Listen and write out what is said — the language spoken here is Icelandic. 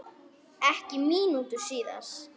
Ekki mínútu síðar